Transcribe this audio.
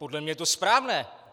Podle mě je to správné.